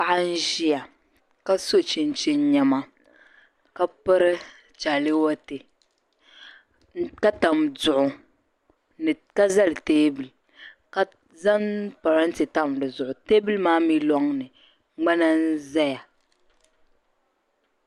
Paɣa n ʒiya ka so chinchini niɛma ka piri chaalewate ka tam duɣu ka zali teebuli ka zaŋ parante n tam dizuɣu teebuli maa mi lɔŋni ŋmana n zaya